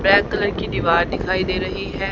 Black colour की दीवार दिखाई दे रही है।